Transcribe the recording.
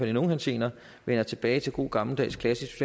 i nogle henseender vender tilbage til god gammeldags klassisk